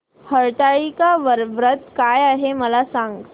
हरतालिका व्रत काय आहे मला सांग